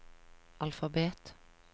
alfabet